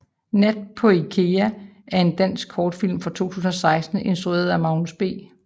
Nat på Ikea er en dansk kortfilm fra 2016 instrueret af Magnus B